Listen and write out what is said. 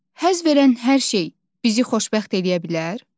Həzz verən hər şey bizi xoşbəxt eləyə bilər?